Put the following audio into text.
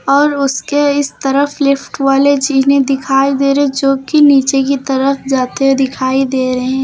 और उसके इस तरफ लिफ्ट वाले जीने दिखाई दे रहे हैं जोकि नीचे की तरफ जाते हुए दिखाई दे रहे हैं।